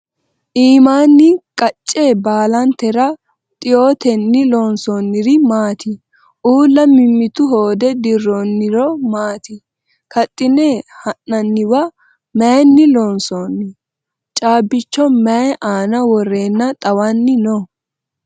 iimmanni qacce baalantera xiyoottenni loonsoonniri maatti? Uulla mimittu hoode diroonniro maati? Kaxinne ha'naniwa mayiinni loonsoonni? Caabbicho mayi aanna worrenna xawanni noo?